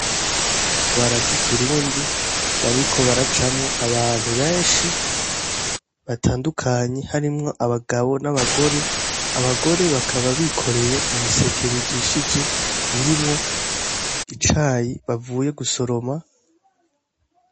Akabarabara k'ikirundi bariko baracamwo abantu benshi batandukanye harimwo abagabo n'abagore, abagore bakaba bikoreye ibiseke bijishije birimwo icayi bavuye gusoroma.